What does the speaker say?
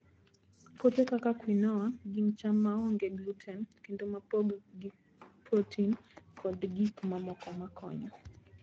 Puothe kaka quinoa gin cham maonge gluten kendo mopong' gi protein kod gik mamoko makonyo.